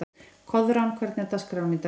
Koðrán, hvernig er dagskráin í dag?